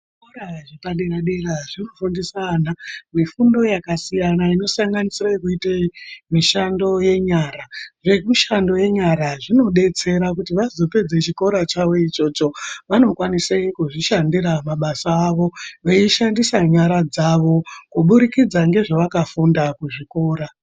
Zvikora zvepadera dera zvinofundisa ana mifundo yakasiyana inosanganisira yekuite mishando yenyara. Zvemishando yenyara zvinodetsera kuti vazopedza chikora chavo ichocho vanokwanisa kuzvishandira mabasa avo veishandisa nyara dzavo kubudikidza ngezvavakafundira kuzvikora.